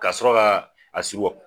Ka sɔrɔ ka a si wɔ